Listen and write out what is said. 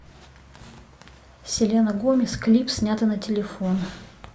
селена гомес клип снятый на телефон